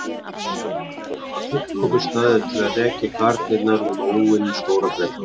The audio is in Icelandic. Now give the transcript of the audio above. Þetta var fullkominn staður til að rekja garnirnar út óvinum Stóra-Bretlands.